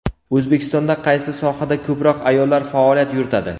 O‘zbekistonda qaysi sohada ko‘proq ayollar faoliyat yuritadi?.